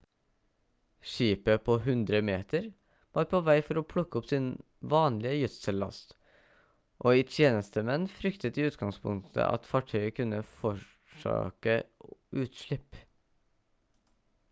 skipet på 100-meter var på vei for å plukke opp sin vanlige gjødsellast og i tjenestemenn fryktet i utgangspunktet at fartøyet kunne forårsake utslipp